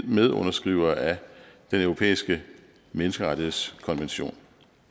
medunderskrivere af den europæiske menneskerettighedskonvention